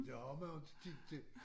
Det har man jo inte tid til